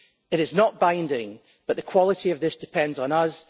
It is not binding, but the quality of this depends on us.